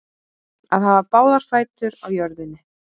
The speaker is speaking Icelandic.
Að hafa báða fætur á jörðunni